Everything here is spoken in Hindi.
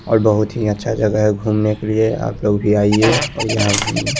और बहोत ही अच्छा जगा है घूमने के लिए आप लोग भी आईये और यहाँ घूमिए ।